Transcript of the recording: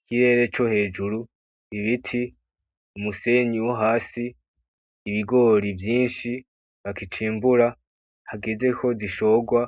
Ikirere co hejuru ibiti umusenyi vyohasi ibigori vyinshi bakicimbura hageze ko zishorwa,